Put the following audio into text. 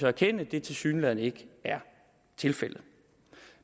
erkende tilsyneladende ikke er tilfældet